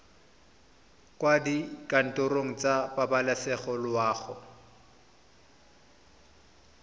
kwa dikantorong tsa pabalesego loago